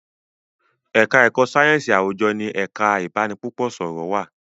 èka èko sáyẹnsì àwùjọ ní ẹka ibanipúpò sọrọ wá